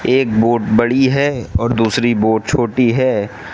एक बोट बड़ी है और दूसरी बोट छोटी है।